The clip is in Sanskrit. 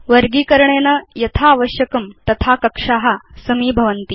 वर्गीकरणेन यथा आवश्यकं तथा कक्षा समीभवन्ति